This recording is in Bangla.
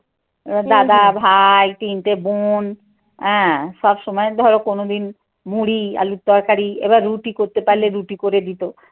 দাদা, ভাই, তিনটে বোন, হ্যাঁ, সবসময় ধরো কোনদিন মুড়ি, আলুর তরকারি, এবার রুটি করতে পারলে রুটি করে দিতো।